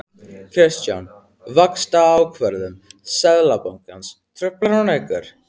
Kristján: Vaxtaákvörðun Seðlabankans, truflar hún ykkur?